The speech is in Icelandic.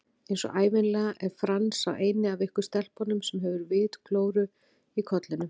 Einsog ævinlega er Franz sá eini af ykkur stelpunum sem hefur vitglóru í kollinum